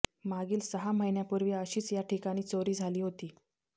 मागील सहा महिन्यापूर्वी अशीच या ठिकाणी चोरी झाली होती